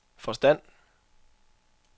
forstand